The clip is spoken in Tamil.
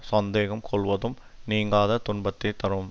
சந்தேகம் கொள்வதும் நீங்காத துன்பத்தை தரும்